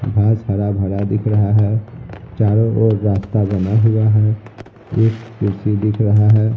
घास हरा भरा दिख रहा है चारों ओर रास्ता बना हुआ है एक कुर्सी दिख रहा है।